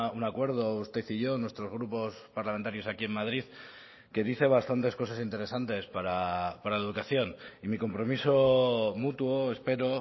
un acuerdo usted y yo nuestros grupos parlamentarios aquí en madrid que dice bastantes cosas interesantes para la educación y mi compromiso mutuo espero